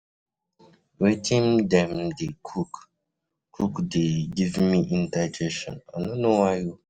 Wetin dem dey cook cook dey give me indigestion I no know why.